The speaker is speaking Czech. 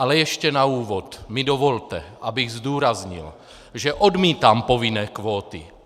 Ale ještě na úvod mi dovolte, abych zdůraznil, že odmítám povinné kvóty!